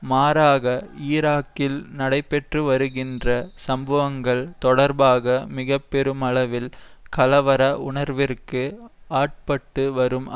மாறாக ஈராக்கில் நடைபெற்றுவருகின்ற சம்பவங்கள் தொடர்பாக மிக பெருமளவில் கலவர உணர்விற்கு ஆட்பட்டு வரும்